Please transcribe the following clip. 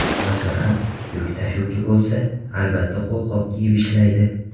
Masalan, yuk tashuvchi bo‘lsa, albatta qo‘lqop kiyib ishlaydi.